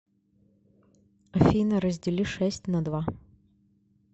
афина раздели шесть на два